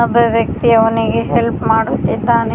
ಒಬ್ಬ ವ್ಯಕ್ತಿ ಅವನಿಗೆ ಹೆಲ್ಪ್ ಮಾಡುತ್ತಿದ್ದಾನೆ.